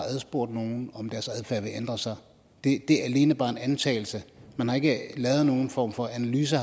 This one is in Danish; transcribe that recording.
spurgt nogen om deres adfærd vil ændre sig det er alene bare en antagelse man har ikke lavet nogen form for analyse